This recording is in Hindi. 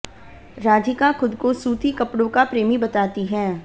राधिका खुद को सूती कपड़ों का प्रेमी बताती हैं